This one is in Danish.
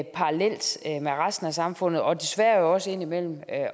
parallelt med resten af samfundet og desværre jo også indimellem